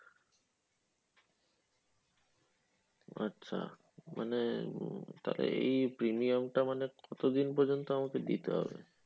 আচ্ছা মানে তাহলে এই premium টা মানে কতদিন পর্যন্ত আমাকে দিতে হবে?